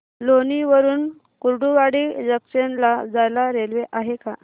लोणी वरून कुर्डुवाडी जंक्शन ला जायला रेल्वे आहे का